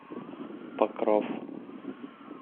покров